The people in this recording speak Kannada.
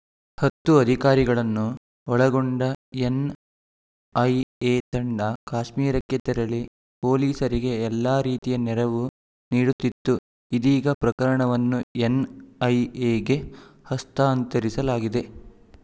ಹತ್ತು ಅಧಿಕಾರಿಗಳನ್ನು ಒಳಗೊಂಡ ಎನ್‌ಐಎ ತಂಡ ಕಾಶ್ಮೀರಕ್ಕೆ ತೆರಳಿ ಪೊಲೀಸರಿಗೆ ಎಲ್ಲ ರೀತಿಯ ನೆರವು ನೀಡುತ್ತಿತ್ತು ಇದೀಗ ಪ್ರಕರಣವನ್ನು ಎನ್‌ಐಎಗೇ ಹಸ್ತಾಂತರಿಸಲಾಗಿದೆ